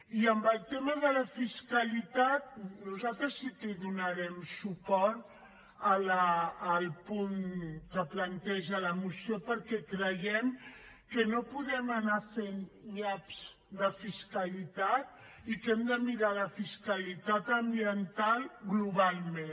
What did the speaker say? i en el tema de la fiscalitat nosaltres sí que hi donarem suport al punt que planteja la moció perquè creiem que no podem anar fent nyaps de fiscalitat i que hem de mirar la fiscalitat ambiental globalment